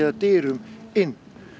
dyrum inn